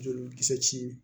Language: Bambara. Joli kisɛ ci